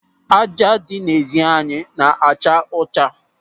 Ájá dị n'ezi anyị na-acha ọcha.